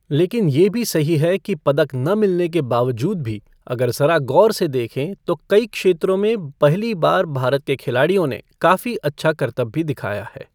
लेकिन ये भी सही है कि पदक न मिलने के बावजूद भी अगर ज़रा ग़ौर से देखें, तो कई क्षेत्रों में पहली बार भारत के खिलाड़ियों ने काफी अच्छा करतब भी दिखाया है।